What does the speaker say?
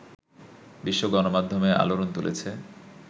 বিশ্ব গণমাধ্যমে আলোড়ন তুলেছে